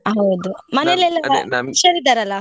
ಹೌದು ಹುಷಾರ್ ಇದ್ದಾರಲ್ಲ?